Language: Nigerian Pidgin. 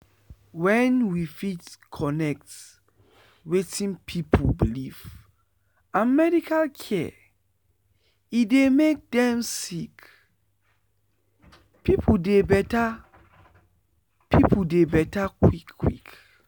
wen we fit connect wetin pipu believe and medical care e dey make dem sick pipu dey beta pipu dey beta quick quick.